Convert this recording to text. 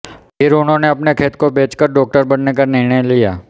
फिर उन्होंने अपने खेत को बेचकर डॉक्टर बनने का निर्णय लिया